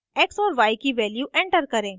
x और y की value enter करें